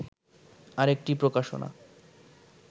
আরেকটি প্রকাশনা